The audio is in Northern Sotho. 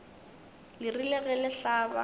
le rile ge le hlaba